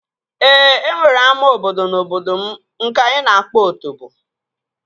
Ee, e nwere ama obodo n'obodo m nke anyị na-akpọ Otobo